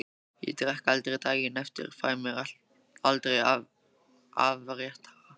Ég drekk aldrei daginn eftir, fæ mér aldrei afréttara.